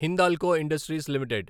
Hindalco industries limited